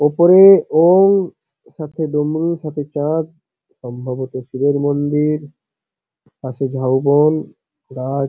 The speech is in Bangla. ওপরে ও-ও-ই সাথে ডমরু সাথে চাঁদ সম্ভবত শিবের মন্দির পাশে ঝাউবন গাছ।